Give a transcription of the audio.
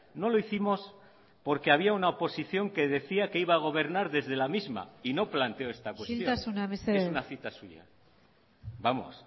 no lo hicimos porque había una oposición que decía que iba a gobernar desde la misma y no planteo esta cuestión isiltasuna mesedez es una cita suya vamos